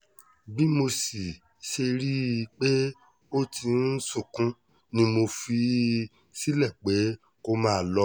bí mo sì ṣe rí i pé ó ti ń sunkún ni mo fi í sílẹ̀ pé kó máa lọ